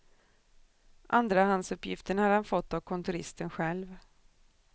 Andrahandsuppgiften hade han fått av kontoristen själv.